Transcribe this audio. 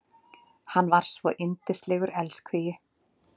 Hann var svo yndislegur elskhugi.